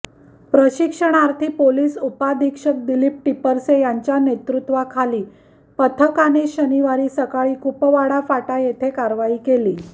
प्रशिक्षणार्थी पोलीस उपाधीक्षक दिलीप टिपरसे यांच्या नेतृत्वाखालील पथकाने शनिवारी सकाळी कुपवाड फाटा येथे कारवाई केली